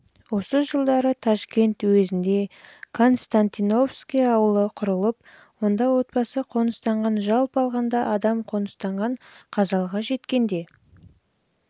осы жылдары ташкент уезінде константиновский ауылы құрылып онда отбасы қоныстанған жалпы алғанда адам қоныстанған қазалыға жеткенде